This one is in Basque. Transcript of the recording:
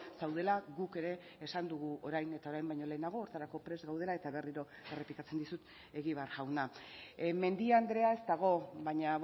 zaudela guk ere esan dugu orain eta orain baino lehenago horretarako prest gaudela eta berriro errepikatzen dizut egibar jauna mendia andrea ez dago baina